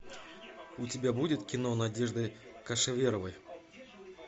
у тебя будет кино надежды кошеверовой